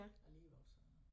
Alligevel så